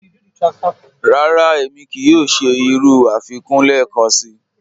Rárá, émi kíí yòò ṣẹ̀ irú afikún lẹ́ẹ̀kànṣí.